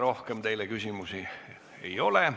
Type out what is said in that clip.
Rohkem teile küsimusi ei ole.